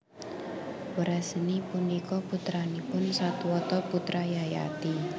Wresni punika putranipun Satwata putra Yayati